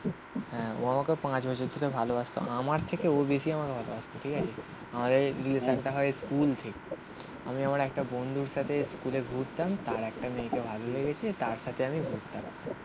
হ্যাঁ ও আমাকে পাঁচ বছর ধরে ভালোবাসতো আমার থেকে ও বেশি আমার ভালোবাসতো ঠিক আছে. আর এই রিলেশান টা হয় স্কুল থেকে. আমি আমার একটা বন্ধুর সাথে স্কুলে ঘুরতাম. তার একটা মেয়েকে ভালো লেগেছে. তার সাথে আমি ঘুরতাম.